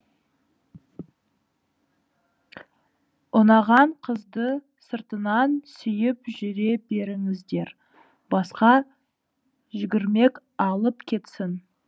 ұнаған қызды сыртынан сүйіп жүре беріңіздер басқа жүгірмек алып кетсін